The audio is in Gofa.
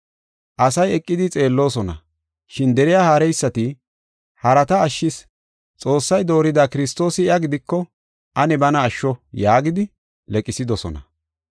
Asay eqidi xeelloosona, shin deriya haareysati, “Harata ashshis; Xoossay doorida Kiristoosi iya gidiko ane bana asho” yaagidi leqsidosona.